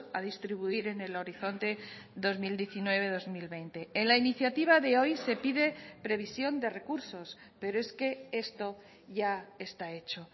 a distribuir en el horizonte dos mil diecinueve dos mil veinte en la iniciativa de hoy se pide previsión de recursos pero es que esto ya está hecho